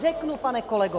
Řeknu, pane kolego.